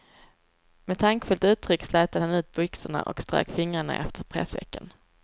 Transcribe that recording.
Med tankfullt uttryck slätade han ut byxorna och strök fingrarna efter pressvecken.